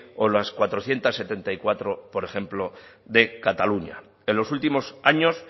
o las cuatrocientos setenta y cuatro por ejemplo de cataluña en los últimos años